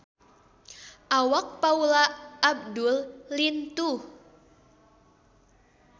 Awak Paula Abdul lintuh